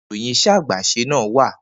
Nibo ni iroyin ise agbese na wa?